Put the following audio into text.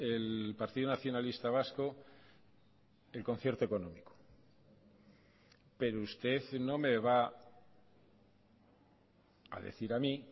el partido nacionalista vasco el concierto económico pero usted no me va a decir a mí